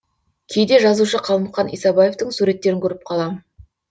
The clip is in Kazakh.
кейде жазушы қалмұқан исабаевтың суреттерін көріп қалам